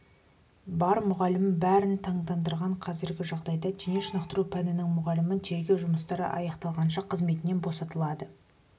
бар мұғалім бәрін таңдандырған қазіргі жағдайда дене шынықтыру пәнінің мұғалімін тергеу жұмыстары аяқталғанша қызметінен босатылды